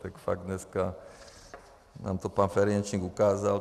Tak fakt dneska nám to pan Ferjenčík ukázal.